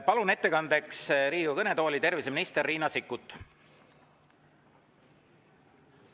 Palun ettekandeks Riigikogu kõnetooli terviseminister Riina Sikkuti.